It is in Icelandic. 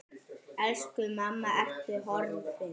Elsku mamma, Ertu horfin?